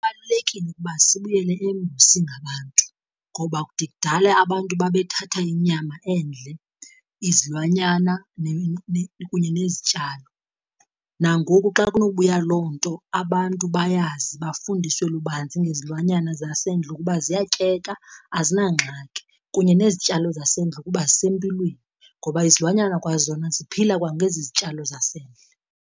Kubalulekile ukuba sibuyele embo singabantu. Ngoba kude kudala abantu babethatha inyama endle, izilwanyana kunye nezityalo. Nangoku xa kunobuya loo nto, abantu bayazi bafundiswe lubanzi ngezilwanyana zasendle ukuba ziyatyeka azinangxaki kunye nezityalo zasendle ukuba zisempilweni, ngoba izilwanyana kwazona ziphila kwangezi zityalo zasendle.